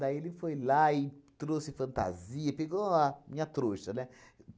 ele foi lá e trouxe fantasia, pegou a minha trouxa, né?